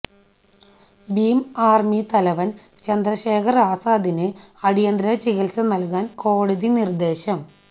Bhim army തലവൻ ചന്ദ്രശേഖർ ആസാദിന് അടിയന്തര ചികിത്സ നൽകാൻ കോടതി നിർദേശം